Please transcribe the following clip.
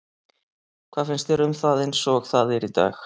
Hvað finnst þér um það eins og það er í dag?